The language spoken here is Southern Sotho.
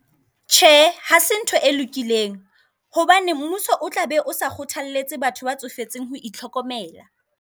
Tjhe, hase ntho e lokileng hobane mmuso o tla be o sa kgothaletse batho ba tsofetseng ho itlhokomela.